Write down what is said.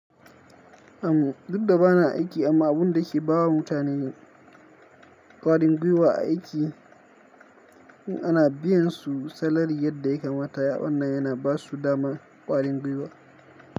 Am duk da ba na aiki amma abun da ke bawa mutane ƙwarin gwiwa a aiki in ana biyan su salari yadda ya kamata, ya'uɗan nan yana basu dama ƙwarin gwiwa.